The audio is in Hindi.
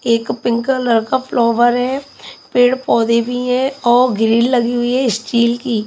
एक पिंक कलर का फ्लॉवर है पेड़ पौधे भी है और ग्रिल लगी हुई है स्टील की।